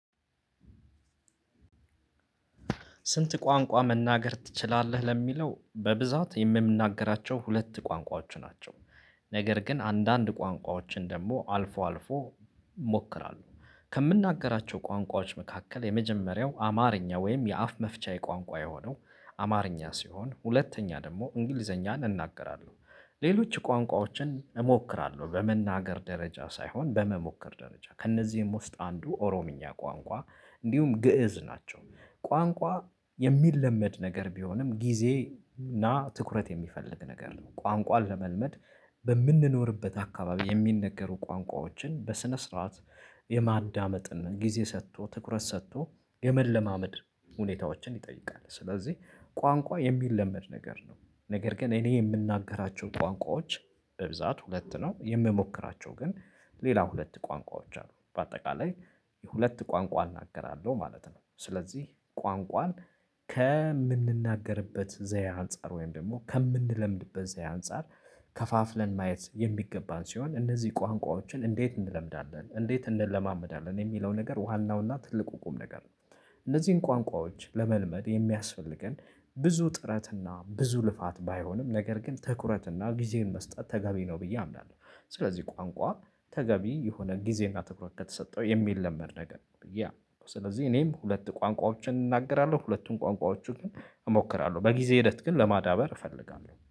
ስንት ቋንቋ መናገር ትችላለህ ለሚለው በብዛት የምንናገራቸው ሁለት ቋንቋዎች ናቸው? ነገር ግን አንዳንድ ቋንቋዎችን ደግሞ አልፎ አልፎ እሞክራለሁ። ከምናገራቸው ቋንቋዎች መካከል የመጀመሪያው አማርኛ ወይም የአፍ መፍቻ የቋንቋ የሆነው አማርኛ ሲሆን ሁለተኛ ደግሞ እንግሊዘኛን እናገራለሁ። ሌሎች ቋንቋዎችን እሞክራለሁ በመናገር ደረጃ ሳይሆን በመሞከር ደረጃ ከእነዚህም ውስጥ አንዱ ኦሮምኛ ቋንቋ እንዲሁም ግእዝ ናቸው ቋንቋ የሚለመድ ነገር ቢሆንም ጊዜ እና ትኩረት የሚፈልግ ነገር ነው። ቋንቋ ለመልመድ በምንኖርበት አካባቢ የሚነገሩ ቋንቋዎችን በስነ ስርዓት የማዳመጥና ጊዜ ሰጥቶ ትኩረት ሰጥቶ የመለማመድ ሁኔታዎችን ይጠይቃል። ስለዚህ ቋንቋ የሚለመድ ነገር ነው። ነገር ግን እኔ የምናገራቸው ቋንቋዎች በብዛት ሁለት ነው የምሞክራቸው ግን ሌላ ሁለት ቋንቋዎች አሉ። በአጠቃላይ የሁለት ቋንቋ እናገራለሁ ማለት ነው። ስለዚህ ቋንቋን ከምንናገርበት ዘየ አንፃር ወይም ደግሞ ከምንለምድበት ዘየ አንፃር። ከፋፍለን ማየት የሚገባን ሲሆን እነዚህ ቋንቋዎችን እንዴት እንለምዳለን እንዴት እንለማመዳለን የሚለው ነገር ዋናውና ትልቁ ቁም ነገር ነው። እነዚህን ቋንቋዎች ለመልመድ የሚያስፈልገን ብዙ ጥረትና ብዙ ልፋት ባይሆንም ነገር ግን ትኩረትና ጊዜን መስጠት ተገቢ ነው ብዬ አምናለሁ። ስለዚህ ቋንቋ ተገቢ የሆነ ጊዜና ትኩረት ከተሰጠው የሚለመድ ነገር ነው ብዬ አምናለሁ። ስለዚህ እኔም ሁለት ቋንቋዎችን እናገራለሁ ሁለቱን ቋንቋዎቹን እሞክራለሁ በጊዜ ሂደት ግን ለማዳበር እፈልጋለሁ